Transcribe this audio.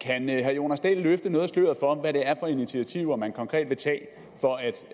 kan herre jonas dahl løfte noget af sløret for hvad det er for initiativer man konkret vil tage for at